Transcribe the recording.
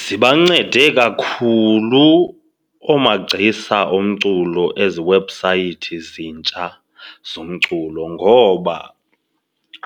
Zibancede kakhulu oomagcisa omculo ezi webhusayithi ezintsha zomculo ngoba